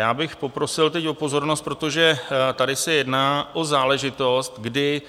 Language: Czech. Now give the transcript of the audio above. Já bych poprosil teď o pozornost, protože tady se jedná o záležitost, kdy